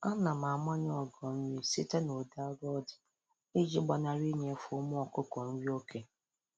Ana m amanye ogo nri site n'udị arọ ọ dị iji gbanarị inyefe ụmụ ọkụkọ nri oke